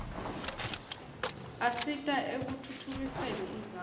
asita ekutfutfukiseni indzawo